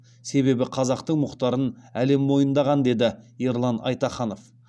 себебі қазақтың мұхтарын әлем мойындаған деді ерлан айтаханов